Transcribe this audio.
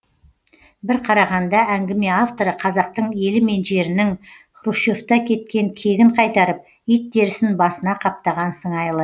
бір қарағанда әңгіме авторы қазақтың елі мен жерінің хрущевте кеткен кегін қайтарып ит терісін басына қаптаған сыңайлы